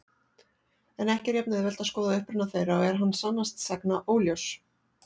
En ekki er jafn-auðvelt að skoða uppruna þeirra og er hann sannast sagna óljós.